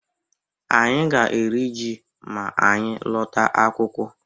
Anyị ga-eri ji ma anyị lọta akwụkwọ.